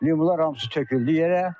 Limonlar hamısı töküldü yerə.